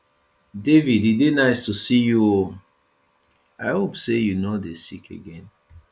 david e dey nice to see you oo i hope say you no dey sick again